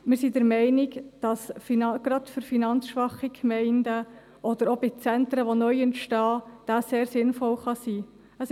Wir sind der Meinung, dass dieser gerade für finanzschwache Gemeinden oder auch gerade bei neu entstehenden Zentren sehr sinnvoll sein kann.